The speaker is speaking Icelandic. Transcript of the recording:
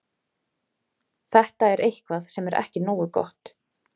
Þetta er eitthvað sem er ekki nógu gott.